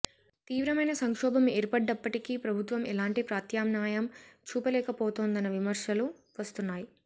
తీవ్రమైన సంక్షోభం ఏర్పడ్డప్పటికీ ప్రభుత్వం ఎలాంటి ప్రత్యామ్నాయం చూపలేకపోతోందన్న విమర్శలు వస్తున్నాయి